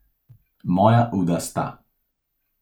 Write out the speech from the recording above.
Moja uda sta.